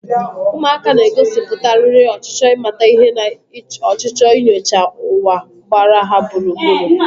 Ụmụaka na-egosipụtakarị ọchịchọ ịmata ihe na ọchịchọ inyocha ụwa gbara ha gburugburu.